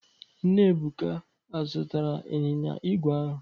Nna Ebuka azụtara ịnyịnya igwe ahụ.